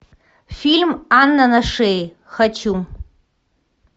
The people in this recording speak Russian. фильм анна на шее хочу